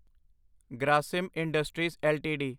Grasim industries LTD